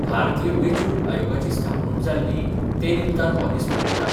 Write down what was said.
भारतीय वेंचणूक आयोगाची स्थापणूक जाल्ली, ते निमतान हो दीस मनयतात.